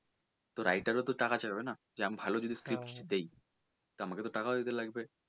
তো writer ও তো টাকা চাইবে না যে আমি যদি ভালো speech দেই তো টাকা তো চাইবেই।